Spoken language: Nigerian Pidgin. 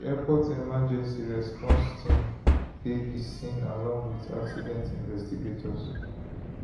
di airport emergency response team dey di scene along wit accident investigators